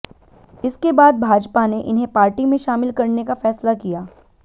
इसके बाद भाजपा ने इन्हें पार्टी में शामिल करने का फैसला किया